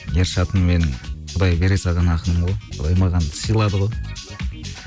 ершатым менің құдай бере салған ақыным ғой құдай маған сыйлады ғой